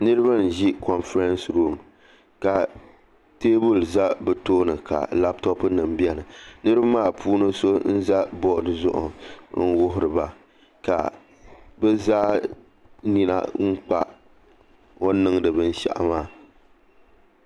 Niraba n ʒi konfirɛns ruum ka teebuli ʒɛ bi tooni ka labtop nim biɛni niraba maa puuni so n ʒɛ bood gbuni maa n wuhuriba ka bi zaa nina kpa o nI niŋdi binshaɣu maa